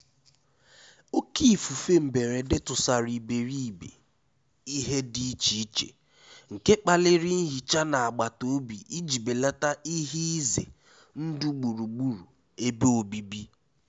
Òkè ífúfé mbérédé túsàrá íbéríbé íhé dí íché íché, nké kpálirí nhíchá ná àgbátá òbí íjí bélátá íhé ízé ndụ́ gbúrú-gbúrú ébé òbíbí.